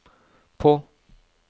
på